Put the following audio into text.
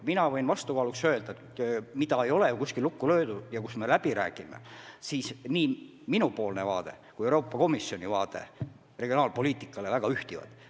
Ma võin vastukaaluks öelda, et midagi ei ole kuskil lukku löödud ja kui me läbi räägime, siis minu ja Euroopa Komisjoni vaated regionaalpoliitikale ühtivad.